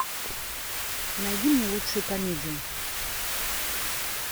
найди мне лучшую комедию